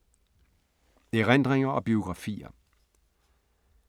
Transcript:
Erindringer og biografier